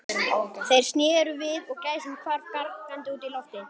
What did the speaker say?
Þeir sneru við og gæsin hvarf gargandi út í loftið.